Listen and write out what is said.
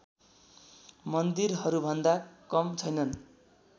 मन्दिरहरूभन्दा कम छैनन्